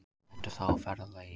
Ertu þá á ferðalagi?